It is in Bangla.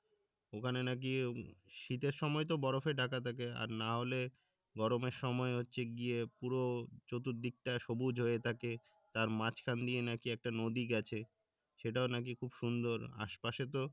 ওখানে নাকি শীতের সময় তো বরফে ঢাকা থাকে আর না হলে গরমের সময় হচ্ছে গিয়ে পুরো চতুর দিকটা সবুজ হয়ে থাকে তার মাঝখান দিয়ে নাকি একটা নদী গেছে সেটাও নাকি খুব সুন্দর আশপাশে তো